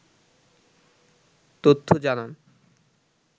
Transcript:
তথ্য জানান